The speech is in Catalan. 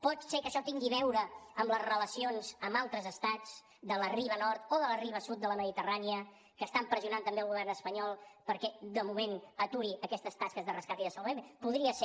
pot ser que això tingui a veure amb les relacions amb altres estats de la riba nord o de la riba sud de la mediterrània que estan pressionant també el govern espanyol perquè de moment aturi aquestes tasques de rescat i de salvament podria ser